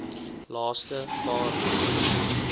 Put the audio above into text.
laaste paar broekie